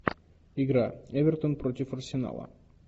игра эвертон против арсенала